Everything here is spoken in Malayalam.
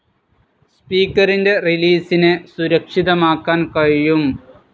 സ്പീക്കറിൻ്റെ റിലീസിനെ സുരക്ഷിതമാക്കാൻ കഴിയും.